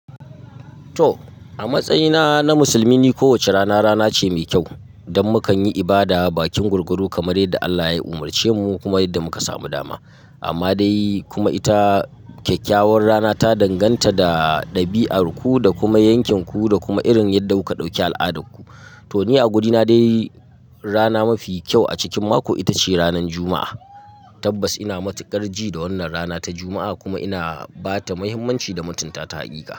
To! A matsayina na musulmi, ni ko wace rana rana ce mai kyau, dan makan yi ibada, bakin gwargwado kamar yadda Allah ya umarce mu kuma yadda muka samu dama. Amma dai kuma ita kyakkyawar rana ta danganta da ɗabi'arku, da kuma yankinku, da kuma irin yadda kuka dauki al'adarku. To ni a wurina dai rana mafi kyau a cikin mako, ita ce ranan Juma'a. Tabbas ina matuƙar ji da wannan rana ta Juma'a kuma ina bata muhimmanci da mutunta ta a hakika.